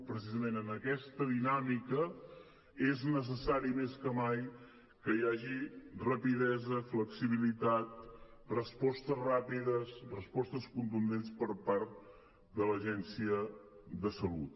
precisament en aquesta dinàmica és necessari més que mai que hi hagi rapidesa flexibilitat respostes ràpides respostes contundents per part de l’agència de salut